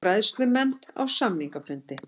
Bræðslumenn á samningafundi